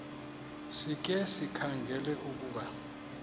sikhe sikhangele ukuba